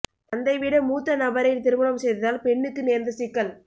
தந்தை விட மூத்த நபரை திருமணம் செய்ததால் பெண்ணுக்கு நேர்ந்த சிக்கல்